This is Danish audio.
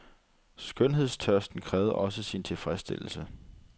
Skønhedstørsten krævede også sin tilfredsstillelse.